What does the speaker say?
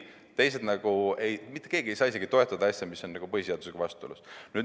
Ei, mitte keegi ei saa toetada asja, mis on põhiseadusega vastuolus.